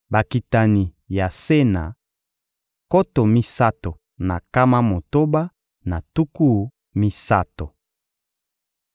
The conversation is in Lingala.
Bakitani ya Sena: nkoto misato na nkama motoba na tuku misato.